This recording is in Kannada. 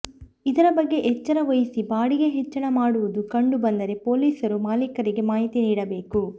ಇದರ ಬಗ್ಗೆ ಎಚ್ಚರ ವಹಿಸಿ ಬಾಡಿಗೆ ಹೆಚ್ಚಳ ಮಾಡೋದು ಕಂಡು ಬಂದರೆ ಪೊಲೀಸರು ಮಾಲೀಕರಿಗೆ ಮಾಹಿತಿ ನೀಡಬೇಕು